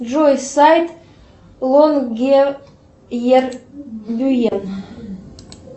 джой сайт лонгеет бюен